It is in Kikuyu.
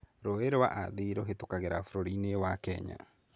Rũũĩ rwa Athi rũhĩtũkagĩra bũrũri-inĩ wa Kenya.